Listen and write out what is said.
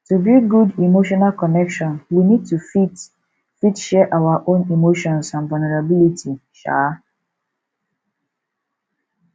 to build good emotional connection we need to fit fit share our own emotions and vulnerability um